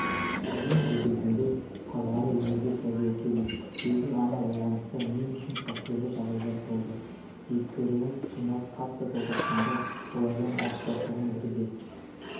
ең жүрегімде қалғаны өмірге сәби әкелу өзім ана болғандықтан мен үшін әсерлі жағдайлар болды кейіпкерлеріміз қиналып қатты толғатқанда олардың ауыртпашылығын бірге